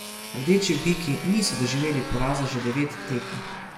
Rdeči biki niso doživeli poraza že devet tekem.